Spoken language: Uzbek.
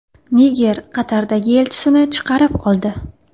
Niger Qatardagi elchisini chaqirib oldi.